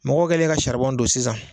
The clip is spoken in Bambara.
Mɔgɔ kɛlen ka saribɔn don sisan